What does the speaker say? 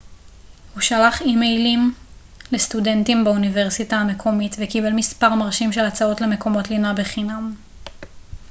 הוא שלח אימיילים לסטודנטים באוניברסיטה המקומית וקיבל מספר מרשים של הצעות למקומות לינה בחינם